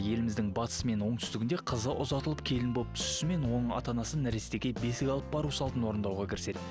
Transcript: еліміздің батысы мен оңтүстігінде қызы ұзатылып келін болып түсісімен оның ата анасы нәрестеге бесік алып бару салтын орындауға кіріседі